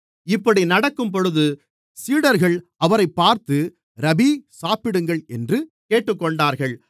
இப்படி நடக்கும்போது சீடர்கள் அவரைப் பார்த்து ரபீ சாப்பிடுங்கள் என்று கேட்டுக்கொண்டார்கள்